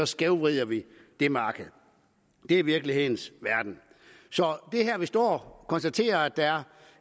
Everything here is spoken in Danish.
skævvrider vi det marked det er virkelighedens verden så vi står og konstaterer at der er